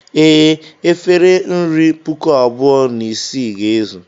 Ee, efere nri puku abụọ na isii ga-ezu.